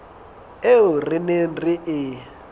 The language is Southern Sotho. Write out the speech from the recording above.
eo re neng re e